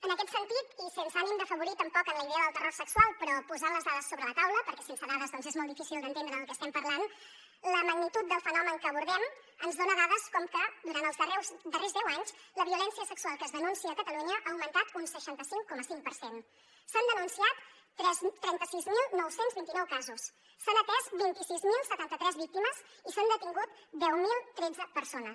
en aquest sentit i sense ànim d’afavorir tampoc en la idea del terror sexual però posant les dades sobre la taula perquè sense dades és molt difícil d’entendre de què estem parlant la magnitud del fenomen que abordem ens dona dades com ara que durant els darrers deu anys la violència sexual que es denuncia a catalunya ha augmentat un seixanta cinc coma cinc per cent s’han denunciat trenta sis mil nou cents i vint nou casos s’han atès vint sis mil setanta tres víctimes i s’han detingut deu mil tretze persones